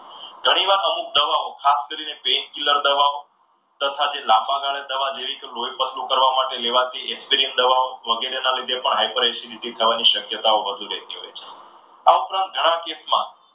ઘણીવાર અમુક દવાઓ ખાસ કરીને પેનકિલર દવાઓ તથા લાંબા ગાળે દવા લેવી કે લોહી પતલું કરવા માટે લેવા દીધી દવાઓ વગેરેને લીધે પણ high per acidity થવાની શક્યતાઓ વધુ રહેતી હોય છે. આ ઉપરાંત ઘણા કેસમાં